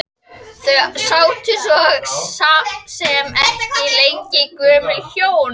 Þau sátu svo sem ekki lengi gömlu hjónin.